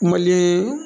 Mali